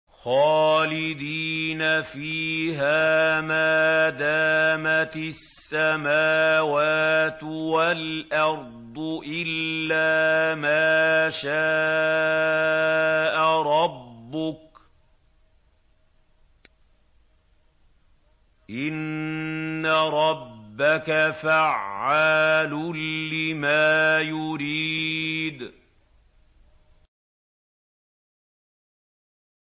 خَالِدِينَ فِيهَا مَا دَامَتِ السَّمَاوَاتُ وَالْأَرْضُ إِلَّا مَا شَاءَ رَبُّكَ ۚ إِنَّ رَبَّكَ فَعَّالٌ لِّمَا يُرِيدُ